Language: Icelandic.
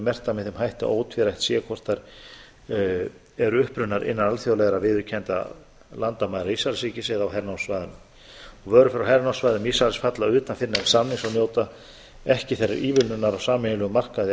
þeim hætti að ótvírætt sé hvort þær eru upprunnar innan alþjóðlegra viðurkenndra landamæra ísraelsríkis eða á hernámssvæðunum vörur frá hernámssvæðum ísraelsfalla utan fyrrnefnds samnings og njóta ekki þeirrar ívilnunar úr sameiginlegum markaði